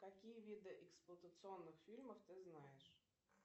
какие виды эксплуатационных фильмов ты знаешь